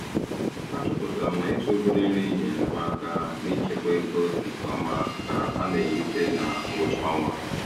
A chọpụtara m na ịzụ obere nri nyeere m aka n'ichekwa ego nke ọma ka a na-erute na ngwụcha ọnwa.